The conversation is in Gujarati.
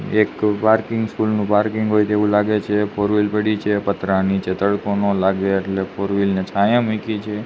એક પાર્કિંગ સ્કૂલ નુ પાર્કિંગ હોઇ તેવુ લાગે છે ફોરવ્હીલ પઈડી છે પતરા નીચે તડકો ન લાગે એટલે ફોરવ્હીલ ને છાયા મુકી છે.